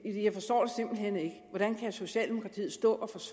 hvordan kan socialdemokratiet stå